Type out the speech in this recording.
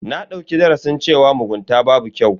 Na dauki darasin cewa mugunta babu kyau.